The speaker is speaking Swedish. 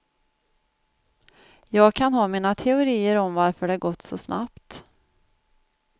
Jag kan ha mina teorier om varför det gått så snabbt.